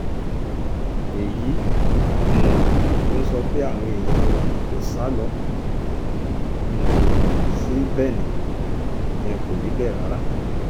èyí um tó ń sọ pé àwọn èèyàn wa kò sá lọ um sí benin yẹn kò rí bẹ́ẹ̀ rárá